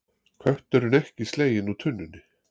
Kötturinn ekki sleginn úr tunnunni